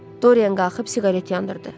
Doryan qalxıb siqaret yandırdı.